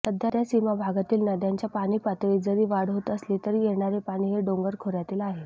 सध्या सीमाभागातील नद्यांच्या पाणीपातळीत जरी वाढ होत असली तरी येणारे पाणी हे डोंगर खोऱयातील आहे